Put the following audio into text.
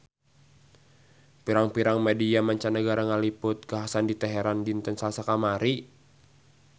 Pirang-pirang media mancanagara ngaliput kakhasan di Teheran dinten Salasa kamari